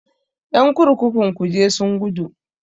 Ƴan kurkukun kuje sun gudu.